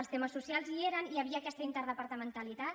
els temes socials hi eren i hi havia aquesta interdepartamentalitat